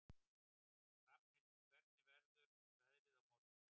Rafnhildur, hvernig verður veðrið á morgun?